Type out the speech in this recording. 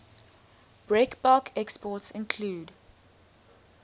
breakbulk exports include